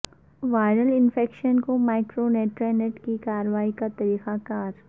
viral infection کو micronutrient کی کارروائی کے طریقہ کار